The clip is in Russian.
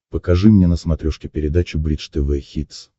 покажи мне на смотрешке передачу бридж тв хитс